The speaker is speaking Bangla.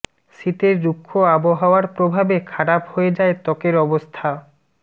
শীতের রুক্ষ আবহাওয়ার প্রভাবে খারাপ হয়ে যায় ত্বকের অবস্থা